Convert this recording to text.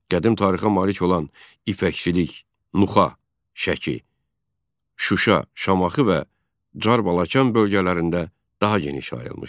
Qədim tarixə malik olan ipəkçilik, Nuxa, Şəki, Şuşa, Şamaxı və Carbalakan bölgələrində daha geniş yayılmışdı.